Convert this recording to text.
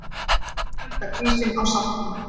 Hækka prísinn á saltinu!